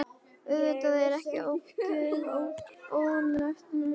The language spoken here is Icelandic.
Auðvitað er ekkert óeðlilegt við það að reka sig á.